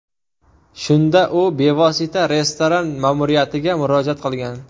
Shunda u bevosita restoran ma’muriyatiga murojaat qilgan.